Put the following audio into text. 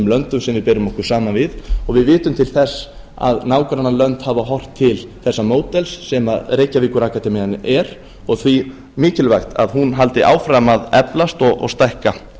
löndum sem við berum okkur saman við og við vitum til þess að nágrannalönd hafa horft til þessa módels sem reykjavíkurakademían er og því mikilvægt að hún haldi áfram að eflast og stækka